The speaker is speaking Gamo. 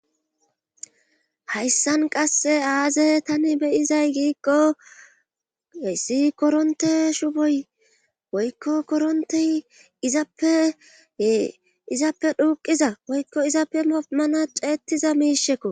Hayssan qasse aaze tani beyizay giikko issi koronte shuboy woykko korontey izappeyee izappe duuxiza woykko izappe moretida ceetiza miishakko.